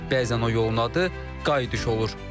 Bəzən o yolun adı qayıdış olur.